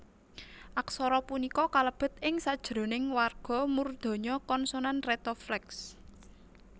Aksara punika kalebet ing sajroning warga murdhanya konsonan retrofleks